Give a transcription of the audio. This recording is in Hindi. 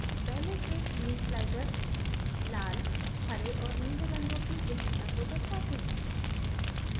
पहले के 3 sliders लाल हरे और नीले रंगों की गहनता को दर्शाते हैं